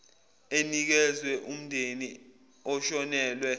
enikezwa umndeni oshonelwe